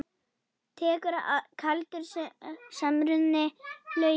Tekur kaldur samruni flugið?